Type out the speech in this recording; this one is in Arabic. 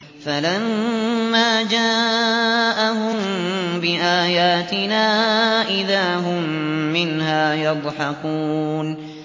فَلَمَّا جَاءَهُم بِآيَاتِنَا إِذَا هُم مِّنْهَا يَضْحَكُونَ